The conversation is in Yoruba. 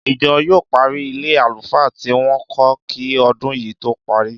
Ìjọ yóò parí ilé àlùfáà tí wọ́n ń kọ́ kí ọdún yìí tó parí